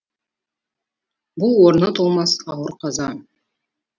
бұл орны толмас ауыр қаза